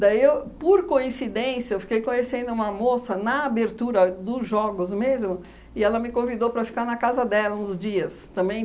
Daí eu, por coincidência, eu fiquei conhecendo uma moça na abertura dos Jogos mesmo, e ela me convidou para ficar na casa dela uns dias também.